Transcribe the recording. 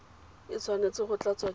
e tshwanetse go tlatswa ke